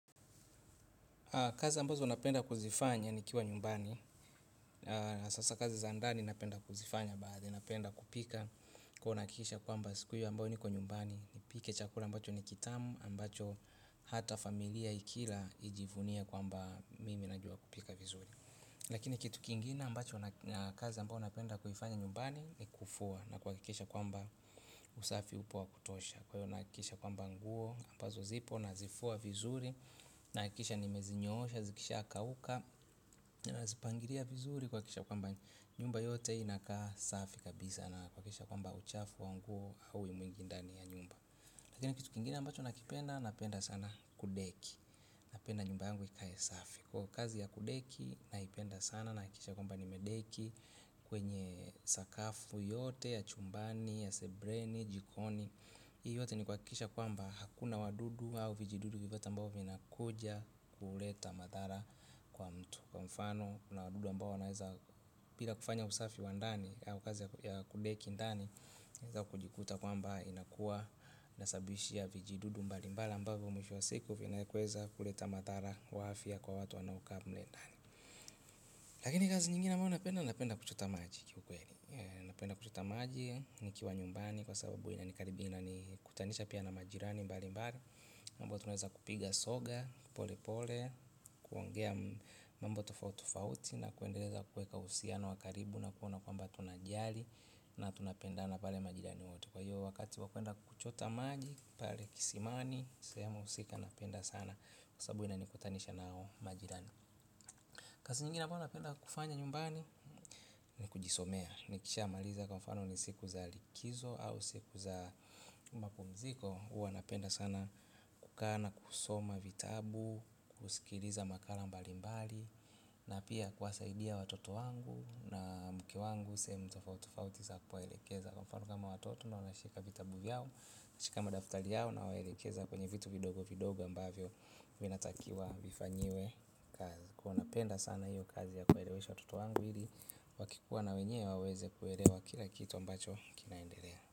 Kazi ambazo napenda kuzifanya nikiwa nyumbani, sasa kazi za ndani napenda kuzifanya baadhi, napenda kupika kuwa nahakikisha kwamba siku hiyo ambayo niko nyumbani, nipike chakula ambacho ni kitamu, ambacho hata familia ikila ijivunie kwamba mimi najua kupika vizuri. Lakini kitu kingine ambacho na kazi ambao napenda kuifanya nyumbani. Kufua na kuhakikisha kwamba usafi upo wa kutosha. Kwa hivyo nahakikisha kwamba nguo ambazo zipo na zifua vizuri. Nahakikisha nimezinyoosha, zikisha kauka. Nazipangilia vizuri kuhakikisha kwamba nyumba yote inakaa safi kabisa. Na kuhakikisha kwamba uchafu wa nguo au ndani ya nyumba. Lakini kitu kingine ambacho nakipenda napenda sana kudeki. Napenda nyumba yangu ikae safi. Kwa kazi ya kudeki naipenda sana nahakikisha kwamba nimedeki kwenye sakafu yote ya chumbani, ya sebuleni jikoni. Hii yote ni kuhakikisha kwamba hakuna wadudu au vijidudu vyovyote ambavyo vinakuja kuleta madhara kwa mtu. Kwa mfano kuna wadudu ambao wanaweza bila kufanya usafi wa ndani au kazi ya kudeki ndani unaweza kujikuta kwamba inakuwa ina sababisha vijududu mbali mbali ambavyo mwisho wa siku vinaweza kuleta madhara kwa afya kwa watu wanaokaa mle ndani lakini kazi nyingine ambayo napenda, napenda kuchota maji kiukweli napenda kuchota maji, nikiwa nyumbani kwa sababu inanikaribia inanikutanisha pia na majirani mbali mbali amabao tunaweza kupiga soga, pole pole, kuongea mambo tofauti tofauti na kuendeleza kuweka uhusiano na wakaribu na kuona kwamba tunajali na tunapendana pale majirani wote kwa hiyo wakati wa kwenda kuchota maji, pale kisimani. Sehemu husika napenda sana. Kwa sababu inanikutanisha na majirani. Kazi nyingine ambayo napenda kufanya nyumbani. Ni kujisomea. Nikisha maliza kwa mfano ni siku za likizo au siku za mapumziko huwa napenda sana kukaa na kusoma vitabu kusikiliza makala mbali mbali. Na pia kuwasaidia watoto wangu na mke wangu sehemu tofauti tofauti na kuwaelekeza. Kwa mfano kama watoto nawashika vitabu vyao. Nashika madaftari yao nawanaelekeza kwenye vitu vidogo vidogo ambavyo vinatakiwa vifanyiwe kazi huwa napenda sana hiyo kazi ya kuelewesha watotowangu ili wakikuwa na wenyewe waweze kuelewa kila kitu ambacho kinaendelea.